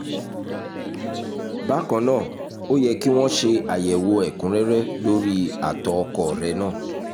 bákan náà ó yẹ kí wọ́n ṣe àyẹ̀wò ẹ̀kúnrẹ́rẹ́ lórí àtọ̀ ọkọ rẹ náà